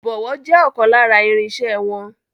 Ìbọ̀wọ́ je ọkàn lára irinsẹ́ wọn.